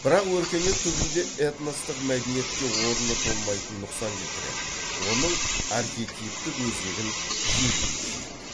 бірақ өркениет түбінде этностық мәдениетке орны толмайтын нұқсан келтіреді оның архетиптік өзегін жегідей жейді